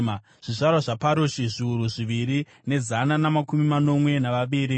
Zvizvarwa zvaParoshi, zviuru zviviri nezana namakumi manomwe navaviri;